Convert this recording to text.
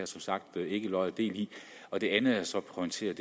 som sagt ikke lod og del i det andet jeg så pointerede